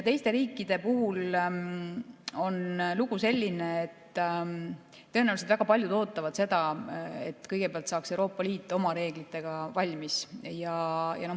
Teiste riikidega on lugu selline, et tõenäoliselt väga paljud ootavad seda, et kõigepealt saaks Euroopa Liit oma reeglitega valmis.